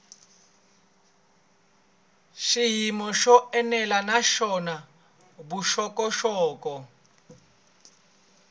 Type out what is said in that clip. xiyimo xo enela naswona vuxokoxoko